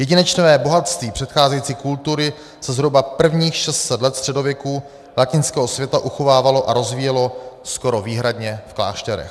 Jedinečné bohatství předcházející kultury se zhruba prvních 600 let středověku latinského světa uchovávalo a rozvíjelo skoro výhradně v klášterech.